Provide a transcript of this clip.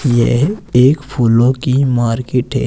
यह एक फूलों की मार्केट है।